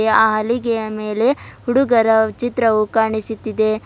ಆ ಹಲಿಗೆಯ ಮೇಲೆ ಹುಡುಗರ ಚಿತ್ರವು ಕಾಣಿಸುತ್ತಿದೆ.